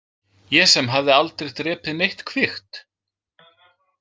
Ég sem hafði aldrei drepið neitt kvikt?